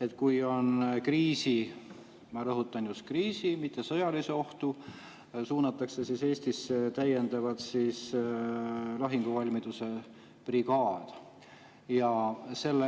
et kui on kriisi – ma rõhutan: just kriisi-, mitte sõjaline oht –, suunatakse Eestisse täiendavalt lahinguvalmiduse brigaad.